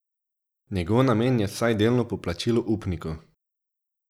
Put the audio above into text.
Njegov namen je vsaj delno poplačilo upnikov.